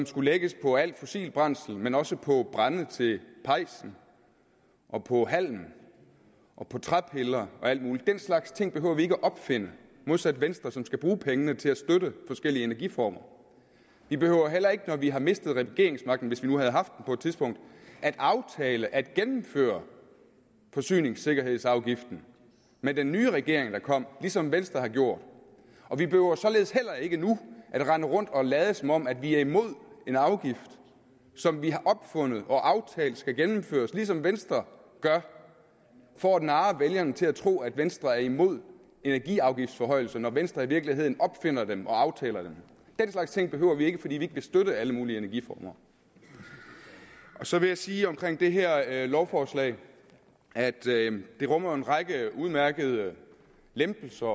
skulle lægges på alt fossilt brændsel men også på brænde til pejsen og på halm og træpiller og alt muligt den slags ting behøver vi ikke at opfinde modsat venstre som skal bruge pengene til at støtte forskellige energiformer vi behøver heller ikke når vi har mistet regeringsmagten hvis vi nu havde haft den på et tidspunkt at aftale at gennemføre forsyningssikkerhedsafgiften med den nye regering der kom ligesom venstre har gjort og vi behøver således heller ikke nu at rende rundt og lade som om vi er imod en afgift som vi har opfundet og aftalt skal gennemføres ligesom venstre gør for at narre vælgerne til at tro at venstre er imod energiafgiftsforhøjelserne når venstre i virkeligheden opfinder dem og aftaler dem den slags ting behøver vi ikke fordi vi vil støtte alle mulige energiformer så vil jeg sige om det her lovforslag at det jo rummer en række udmærkede lempelser